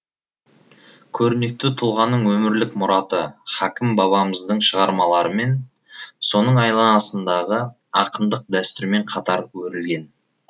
көрнекті тұлғаның өмірлік мұраты хакім бабамыздың шығармаларымен соның айналасындағы ақындық дәстүрмен қатар өрілген